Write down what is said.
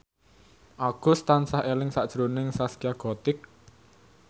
Agus tansah eling sakjroning Zaskia Gotik